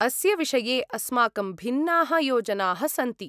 अस्य विषये अस्माकं भिन्नाः योजनाः सन्ति।